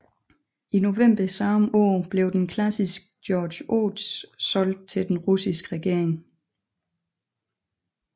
I november samme år blev den klassiske Georg Ots solgt til den russiske regering